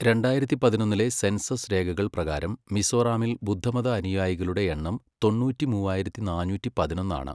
രണ്ടായിരത്തി പതിനൊന്നിലെ സെൻസസ് രേഖകൾ പ്രകാരം മിസോറാമിൽ ബുദ്ധമത അനുയായികളുടെ എണ്ണം തൊണ്ണൂറ്റി മൂവായിരത്തി നാന്നൂറ്റി പതിനൊന്നാണ്.